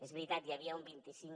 és veritat hi havia un vint i cinc